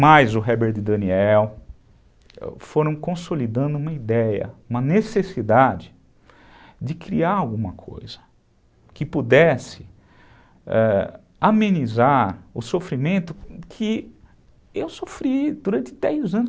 mais o Herbert Daniel, foram consolidando uma ideia, uma necessidade de criar alguma coisa que pudesse ãh amenizar o sofrimento que eu sofri durante dez anos.